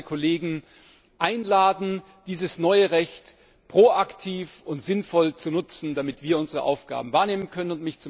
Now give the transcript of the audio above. Ich möchte alle Kolleginnen und Kollegen einladen, dieses neue Recht proaktiv und sinnvoll zu nutzen, damit wir unsere Aufgaben wahrnehmen können.